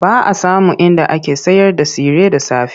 Ba a samun inda ake sayarda tsire da safe.